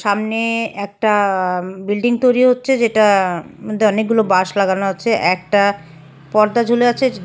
সামনে একটা আ বিল্ডিং তৈরি হচ্ছে যেটার মদ্যে অনেকগুলো বাঁশ লাগানো আছে একটা পর্দা ঝুলে আছে যে--